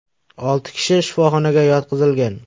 Olti kishi shifoxonaga yotqizilgan.